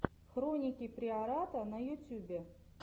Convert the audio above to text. хроники приората на ютюбе